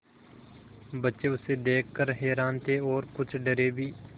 बच्चे उसे देख कर हैरान थे और कुछ डरे भी